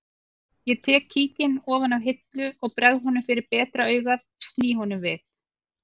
Ég tek kíkinn ofan af hillu og bregð honum fyrir betra augað sný honum við